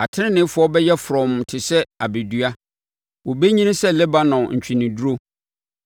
Ateneneefoɔ bɛyɛ frɔmm te sɛ abedua, wɔbɛnyini sɛ Lebanon ntweneduro;